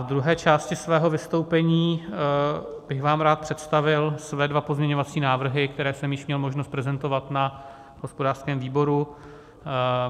V druhé části svého vystoupení bych vám rád představil své dva pozměňovací návrhy, které jsem již měl možnost prezentovat na hospodářském výboru.